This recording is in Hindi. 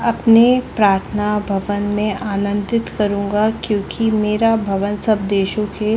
अपने प्राथना भवन में आनंदित करूँगा क्योंकी मेरा भवन सब देशो के--